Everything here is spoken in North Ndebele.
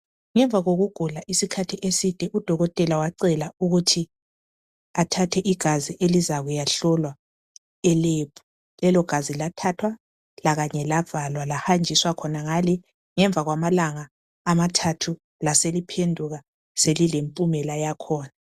Ngemva kokugula isikhathi beside udokotela wacela ukuthi athathe igazi elizakuya hlolwa elebhu lelo gazinlathathwa lakanye lavalwa lahanjiswa khonangale ngemva kwamalanga amathathu laseliphenduka selilempumela yakhona